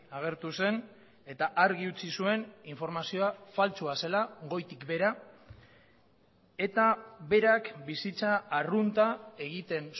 agertu zen eta argi utzi zuen informazioa faltsua zela goitik behera eta berak bizitza arrunta egiten